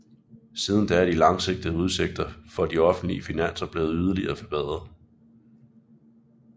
Siden da er de langsigtede udsigter for de offentlige finanser blevet yderligere forbedret